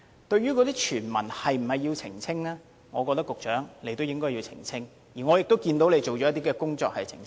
至於傳聞是否要澄清，我認為局長應該澄清，而我看到他已做了些工作，作出澄清。